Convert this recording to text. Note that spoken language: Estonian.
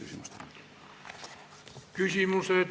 Aitäh, hea esimees!